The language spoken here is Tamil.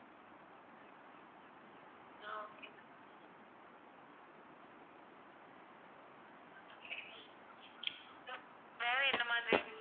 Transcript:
வேற என்ன மாதிரி